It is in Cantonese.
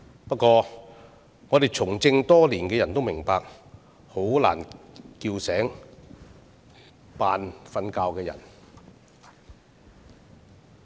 不過，我們從政多年的人也明白，要喚醒裝睡的人很難。